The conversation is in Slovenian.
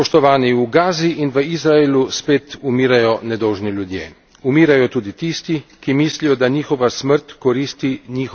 Umirajo tudi tisti, ki mislijo, da njihova smrt koristi njihovi stvari, diametralno nasprotni stvari druge strani.